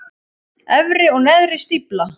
Efri og neðri stífla.